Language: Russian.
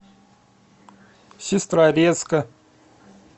сестрорецка